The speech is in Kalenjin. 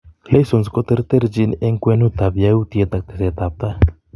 Leisons koterterchin eng' kwenut ab yaautyiet ak teset ab tai